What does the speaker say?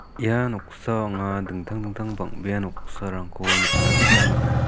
ia noksao anga dingtang dingtang bang·bea noksarangko nikna gita man·a.